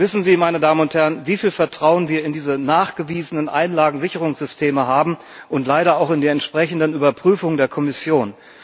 Wissen Sie, wie viel Vertrauen wir in diese nachgewiesenen Einlagensicherungssysteme haben und leider auch in die entsprechenden Überprüfungen der Kommission?